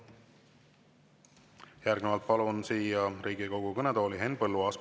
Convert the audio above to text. Järgnevalt palun siia Riigikogu kõnetooli Henn Põlluaasa.